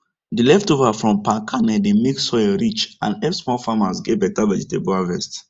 the leftover from palm kernel dey make soil rich and help small farmers get better vegetable harvest